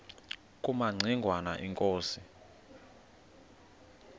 kumaci ngwana inkosi